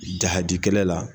Jahadi kɛlɛ la